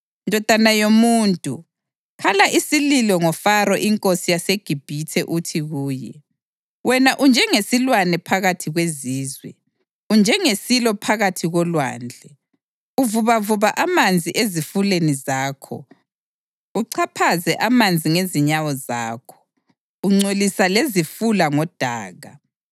“Ndodana yomuntu, khala isililo ngoFaro inkosi yaseGibhithe uthi kuye: ‘Wena unjengesilwane phakathi kwezizwe; unjengesilo phakathi kolwandle, uvubavuba amanzi ezifuleni zakho, uchaphaze amanzi ngezinyawo zakho, ungcolisa lezifula ngodaka.